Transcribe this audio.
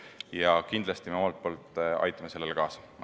Ja kindlasti aitame omalt poolt sellele kaasa.